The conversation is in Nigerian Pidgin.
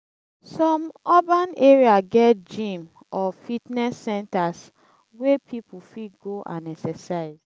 some urban area get gym or fitness centers wey people fit go and exercise.